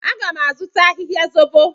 Aga m azụta ahịhịa zobo.